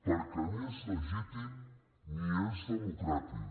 perquè ni és legítim ni és democràtic